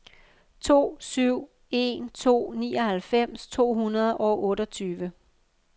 to syv en to nioghalvfems to hundrede og otteogtyve